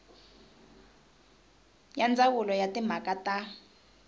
ya ndzawulo ya timhaka ta